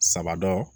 Saba dɔ